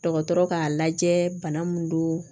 Dɔgɔtɔrɔ k'a lajɛ bana min don